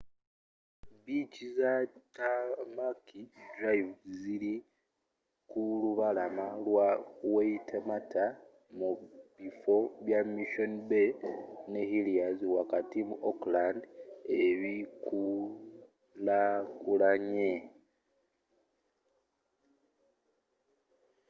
biici za tamaki drive zili ku lubalama lwa waitemata mu bifo bya missoni bay ne heliers wakati mu auckland ebikulakulanye